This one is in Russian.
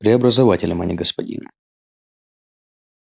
преобразователем а не господином